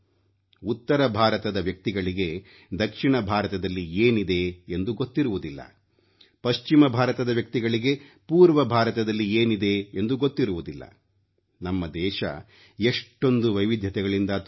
ಉತ್ತರ ಭಾರತದ ವ್ಯಕ್ತಿಗಳಿಗೆ ದಕ್ಷಿಣ ಭಾರತದಲ್ಲಿ ಏನಿದೆ ಎಂದು ಗೊತ್ತಿರುವುದಿಲ್ಲ ಪಶ್ಚಿಮ ಭಾರತದ ವ್ಯಕ್ತಿಗಳಿಗೆ ಪೂರ್ವ ಭಾರತದಲ್ಲಿ ಏನಿದೆ ಎಂದು ಗೊತ್ತಿರುವುದಿಲ್ಲ ನಮ್ಮ ದೇಶ ಎಷ್ಟೊಂದು ವೈವಿಧ್ಯತೆಗಳಿಂದ ತುಂಬಿದೆ